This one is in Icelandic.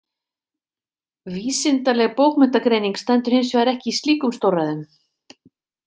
Vísindaleg bókmenntagreining stendur hins vegar ekki í slíkum stórræðum.